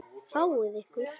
Fáið ykkur.